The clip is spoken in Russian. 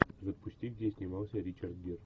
запусти где снимался ричард гир